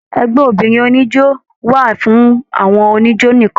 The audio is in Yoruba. Ẹgbẹ obìnrin oníjó wà fún àwọn oníjó nìkan.